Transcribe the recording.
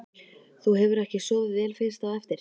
Þú hefur ekki sofið vel fyrst á eftir?